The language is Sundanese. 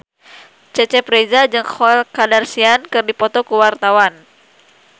Cecep Reza jeung Khloe Kardashian keur dipoto ku wartawan